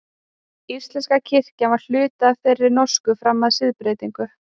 Íslenska kirkjan var hluti af þeirri norsku fram að siðbreytingu.